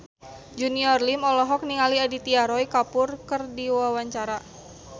Junior Liem olohok ningali Aditya Roy Kapoor keur diwawancara